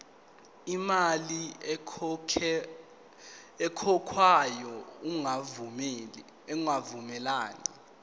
imali ekhokhwayo ingavumelani